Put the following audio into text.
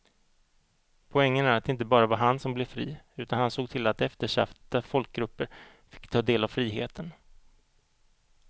Poängen är att det inte bara var han som blev fri utan han såg till att eftersatta folkgrupper fick ta del av friheten.